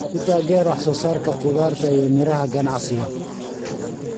Ku taageer wax soo saarka khudaarta iyo miraha ganacsiga.